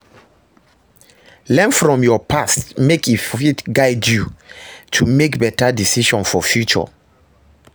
learn from yur past mek e fit guide yu to mek beta decision for future